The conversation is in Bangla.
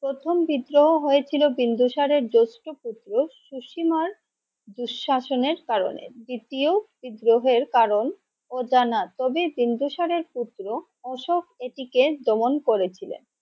প্রথম বিদ্রোহ হয়েছিল বিন্দুসারের জেষ্ঠ্য পুত্র সুসিমার দুঃশাসন এর কারণে, দ্বিতীয় বিদ্রোহের কারণ অজানা কবি বিন্দুসারের পুত্র অশোক এটিকে দমন করেছিলেন।